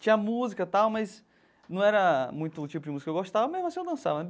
Tinha música tal, mas não era muito o tipo de música que eu gostava, mesmo assim eu dançava.